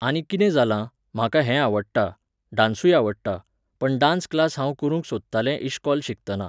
आनी कितें जालां, म्हाका हें आवडटा, डान्सूय आवडटा, पण डान्स क्लास हांव करूंक सोदतालें इश्कॉल शिकताना.